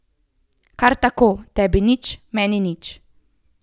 Kar tako, tebi nič, meni nič.